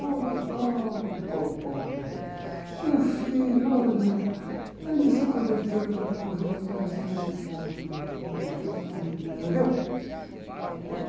Olha o, meu filho, olha, ele se converteu, entrou para o convento, agora faz esse ato de loucura, suicida, entendeu? Eu...